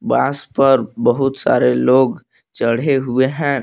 बांस पर बहुत सारे लोग चढ़े हुए हैं।